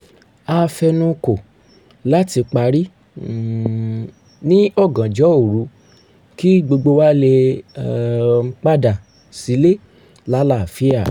a fe̩nukò láti parí um ní ọ̀gànjọ́ òru kí gbogbo wa lè um padà sílé lálàáfíà